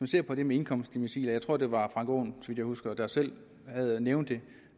ser på det med indkomstdecilet jeg tror at det var frank aaen der selv nævnte